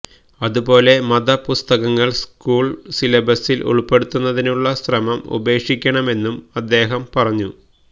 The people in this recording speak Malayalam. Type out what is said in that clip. അതുപോലെ മത പുസ്തകങ്ങള് സ്കൂള് സിലബസില് ഉള്പ്പെടുത്തുന്നതിനുള്ള ശ്രമം ഉപേക്ഷിക്കണമെന്നും അദ്ദേഹം പറഞ്ഞു